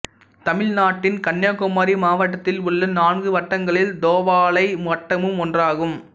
தமிழ்நாட்டின் கன்னியாகுமரி மாவட்டத்தில் உள்ள நான்கு வட்டங்களில் தோவாளை வட்டமும் ஒன்றாகும்